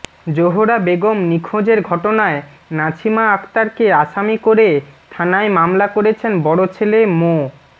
জোহরা বেগম নিখোঁজের ঘটনায় নাছিমা আক্তারকে আসামি করে থানায় মামলা করেছেন বড় ছেলে মো